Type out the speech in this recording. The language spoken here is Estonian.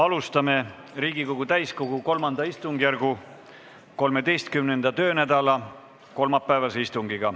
Alustame Riigikogu täiskogu III istungjärgu 13. töönädala kolmapäevast istungit.